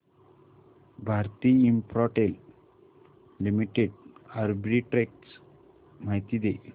Bharti Infratel Limited arbitrage माहिती दे